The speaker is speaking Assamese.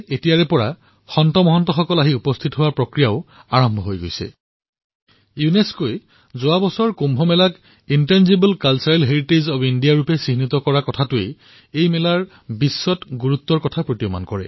ইয়াৰ গোলকীয় মহত্ব ইয়াৰ দ্বাৰাই অনুধাৱন কৰিব পাৰি যে যোৱা বছৰ ইউনেস্কই কুম্ভ মেলাক intangible cultural heritage of humanity ৰ তালিকাত তালিকাভুক্ত কৰিছে